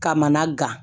Kamana gan